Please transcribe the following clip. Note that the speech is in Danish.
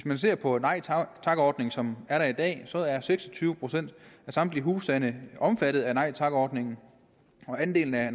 man ser på nej tak tak ordningen som er der i dag så sig at seks og tyve procent af samtlige husstande er omfattet af nej tak ordningen og andelen af